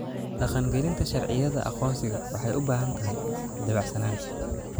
Dhaqangelinta sharciyada aqoonsiga waxay u baahan tahay dabacsanaan.